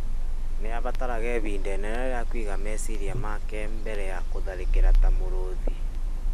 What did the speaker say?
nĩ aabataraga ihinda inene rĩa kũiga meciria make mbere ya gũtharĩkĩra ta mũrũũthi.